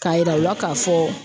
K'a yira u la k'a fɔ